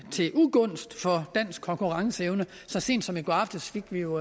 til ugunst for dansk konkurrenceevne så sent som i går aftes fik vi jo